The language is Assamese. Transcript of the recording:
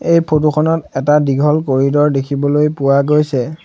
এই ফটো খনত এটা দীঘল কৰিড'ৰ দেখিবলৈ পোৱা গৈছে।